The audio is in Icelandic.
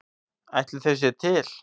Ætli þau séu til?